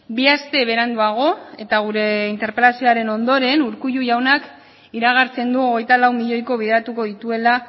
bi aste beranduago eta gure interpelazioaren ondoren urkullu jaunak iragartzen du hogeita lau milioiko bideratuko dituela